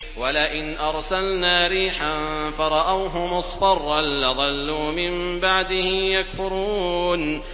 وَلَئِنْ أَرْسَلْنَا رِيحًا فَرَأَوْهُ مُصْفَرًّا لَّظَلُّوا مِن بَعْدِهِ يَكْفُرُونَ